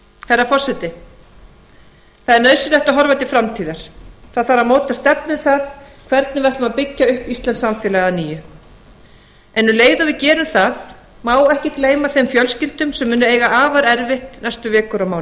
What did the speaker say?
herra forseti það er nauðsynlegt að horfa til framtíðar það þarf að móta stefnu um það hvernig við ætlum að byggja upp íslenskt samfélag að nýju en um leið og við gerum það má ekki gleyma þeim fjölskyldum sem munu eiga afar erfitt næstu vikur og mánuði